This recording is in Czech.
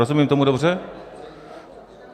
Rozumím tomu dobře?